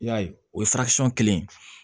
I y'a ye o ye kelen ye